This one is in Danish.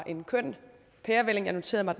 en køn pærevælling jeg noterede mig